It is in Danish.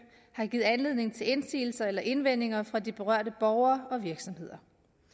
har givet anledning til indsigelser eller indvendinger fra de berørte borgere og virksomheder